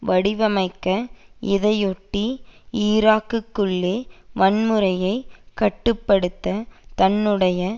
வடிவமைக்க இதையொட்டி ஈராக்கிற்குள்ளே வன்முறையை கட்டு படுத்த தன்னுடைய